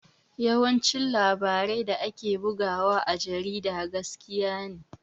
Yawancin labarai da ake bugawa a jarida gaskiya ne